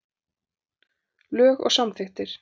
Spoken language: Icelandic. Lög og samþykktir.